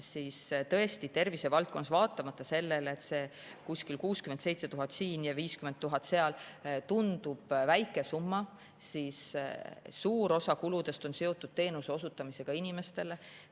Nii et tõesti tervisevaldkonnas see kuskil 67 000 siin ja 50 000 seal tundub väike summa, aga suur osa kuludest on seotud teenuste osutamisega inimestele.